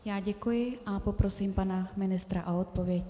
Já děkuji a poprosím pana ministra o odpověď.